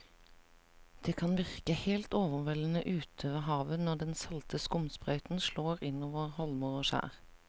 Det kan virke helt overveldende ute ved havet når den salte skumsprøyten slår innover holmer og skjær.